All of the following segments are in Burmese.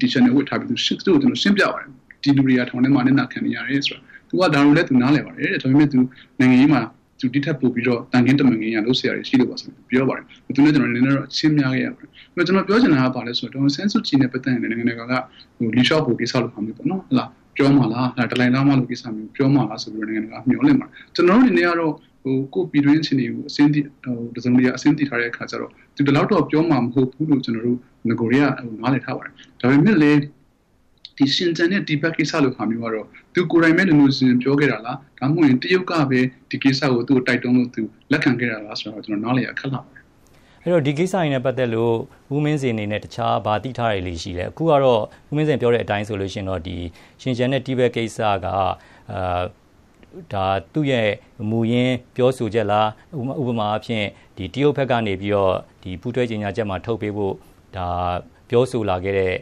တီရှပ် ဝတ်ထားပြီးတော့ ကျနော် သူ့ကိုရှင်းပြပါတယ်။ ဒီလူတွေက ထောင်ထဲမှာ အနစ်နာခံနေရတယ်ဆိုတာကို ။ သူက ဒါကိုလည်း သူနားလည် ပါတယ်တဲ့ ဒါပေမယ့် နိုင်ငံရေးမှာ ဒီထက်ပိုပြီးတော့ သူသံခင်း တမန်ခင်း လုပ်စရာတွေရှိလို့ပါဆိုပြီးတော့ ပြောပါတယ်။ ကျနော်ပြောချင်တာ ဘာလဲဆိုတော့ ဒေါ်အောင်ဆန်းစုကြည်နဲ့ ပတ်သက်ပြီး Liu Xiaobo ကိစ္စလိုမျိုးပေါ့နော် ၊ အဲဒါမျိုးပြောမှာလား နောက် ဒလိုင်းလားမားလို ကိစ္စမျိုးပြောမှာလားလို့ လူတွေမျှော်လင့်ပါတယ်။ ကျနော်တို့အနေနဲ့က ကိုယ့်ပြည်တွင်း အခြေအနေကို တစုံတရာသိထားတဲ့ အခါကျတော့ သူဒီလောက်တော့ပြောမှာ မဟုတ်ဘူးလို့ ကျနော်တို့ နဂိုတည်းက နားလည်ထား ပါတယ်။ ဒါပေမယ့်လည်း ရှင်ကျန်နဲ့ တိဘက်ကိစ္စလိုမျိုးကတော့ သူကိုယ်တိုင်ပဲ လိုလိုချင်ချင် ပြောခဲ့တာလား၊ ဒါမှမဟုတ် တရုတ်ကပဲ ဒီကိစ္စကို တိုက်တွန်းလို့ သူ လက်ခံခဲ့တာလားဆိုတာကို ကျနော်နားလည်ရခက်လှပါတယ်။ အဲဒီတော့ ဒီကိစ္စတွေနဲ့ ပတ်သက်လို့ ဦးမင်းဇင်အနေနဲ့ ဘာသိ ထားတာတွေရှိသေးသလဲ။ အခုကတော့ ဦးမင်းဇင်ပြောတဲ့ အတိုင်းဆိုရင်တော့ ရှင်ကျန်နဲ့ တိဘက် ကိစ္စက ဒါသူ့ရဲ့ မူရင်းပြောဆိုချက်လား ၊ ဥပမာအားဖြင့် တရုတ်ဘက်ကနေပြီးတော့ ပူးတွဲကြေညာချက်ထဲမှာထုတ်ပေးဖို့ ပြောဆိုလာခဲ့တဲ့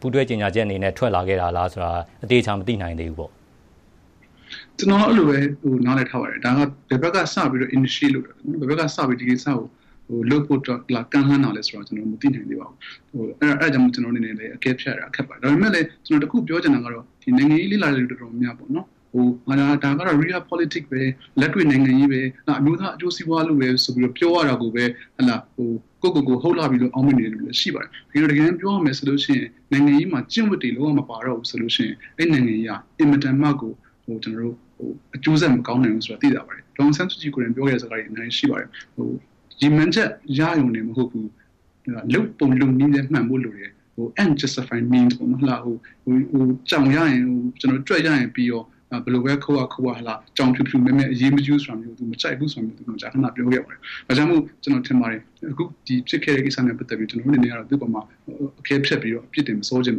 ပူးတွဲကြေညာချက်အနေနဲ့ ထွက်လာခဲ့တာလား- ဆိုတာ အသေအချာ မသိနိုင်သေး ဘူးပေါ့။ ကျနော်ကတော့ အဲဒီလိုပဲ နားလည်ထားပါတယ် ဒါကတော့ ဘယ်ဘက် ကစပြီး initiate လုပ်တာလဲ ဘယ်ဘက်ကစပြီးတော့ လုပ်ဖို့ လာကမ်းလှမ်းတာလဲ ဆိုတာ ကျနော်တို့ မသိနိုင်သေးပါဘူး။ အဲဒါကြောင့်မို့လို့ ကျနော့်အနေနဲ့ အကဲဖြတ် ရတာ ခက်ပါတယ်။ ဒါပေမယ့်လည်း ကျနော်တခုပြော ချင်တာကတော့ နိုင်ငံရေးေ လ့လာတဲ့သူ တော်တော်များများပေါ့နော် ဒါကတော့ Real politic ပဲ လက်တွေ့နိုင်ငံရေးပဲ ၊ ဒါအမျိုးသား အကျိုးစီးပွားလို့ပြောရတာကိုပဲ ကိုယ့်ကိုဟုတ်လှ ပြီလို့ အောင့်မေ့နေတဲ့ သူတွေလည်းရှိပါတယ်။ တကယ်တမ်းပြောရ မယ်ဆိုရင် နိုင်ငံရေးမှာ ကျင့်ဝတ်တွေ လုံးဝမပါတော့ဘူးဆိုရင် အဲဒီနိုင်ငံရေးဟာ အင်မတန်မှကို အကျိုးဆက်မကောင်းတော့တဲ့ နိုင်ငံရေးဆိုတာ သိသာပါ တယ်။ ဒေါ်အောင်ဆန်းစုကြည်ကိုယ်တိုင် ပြောခဲ့တဲ့စကားတွေ အများကြီးရှိပါတယ်။ ရည်မှန်းချက် ရရုံတင်မဟုတ်ဘူး လုပ်ပုံလုပ်နည်းလည်း မှန်ဖို့လိုပါတယ် Ends Justify means ကြောင့် ရရင်ပြီးရော ဘယ်လိုပဲ ခိုးရခိုးရ ကြောင်ဖြူဖြူမဲမဲ အရေး မကြီးဘူးဆိုတာမျိုး သူမကြိုက်ဘူးဆိုတာ မကြာခန ပြောခဲ့ပါတယ်။ ဒါကြောင့်မို့လို့ ကျနော်ထင်ပါတယ် အခုဒီဖြစ်ခဲ့တဲ့ ကိစ္စနဲ့ ပတ်သက်ပြီးတော့ သူ့အပေါ်မှာ အကဲဖြတ် အပြစ်တင် မစောစေချင်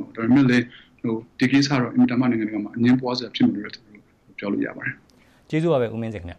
ပါဘူး။ ဒါပေမယ့်လည်း ဒီကိစ္စက အင်မတန်မှ နိုင်ငံတကာမှာ အငြင်းပွားစရာဖြစ်တယ်လို့ပြောလို့ရပါတယ်။ ကျေးဇူးပါပဲ ဦးမင်းဇင်ခင်ဗျ။